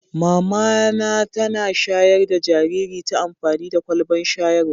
Mama na tana shayar da jinjiri ta amfani da kwalban shayarwa.